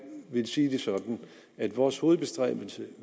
vil sige det sådan at vores hovedbestræbelse